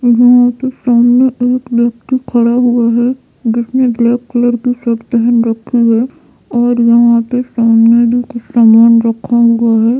यहाँ पे सामने एक व्यक्ति खड़ा हुआ है जिसने ब्लैक कलर की शर्ट पहन रखी है और यहाँ पे सामने भी कुछ सामान रखा हुआ है।